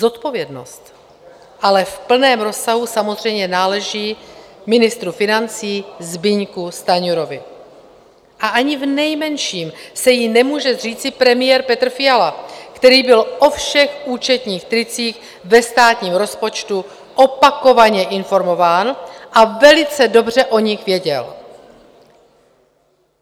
Zodpovědnost ale v plném rozsahu samozřejmě náleží ministru financí Zbyňku Stanjurovi a ani v nejmenším se jí nemůže zříci premiér Petr Fiala, který byl o všech účetních tricích ve státním rozpočtu opakovaně informován a velice dobře o nich věděl.